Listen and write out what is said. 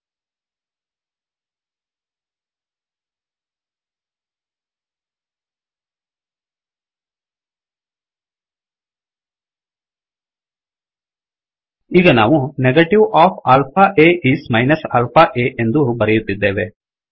ಈಗ ನಾವು negative of alpha a is minus alpha aನೆಗೆಟಿವ್ of alpha a is minus alpha a ಎಂದು ಬರೆಯುತ್ತಿದ್ದೇವೆ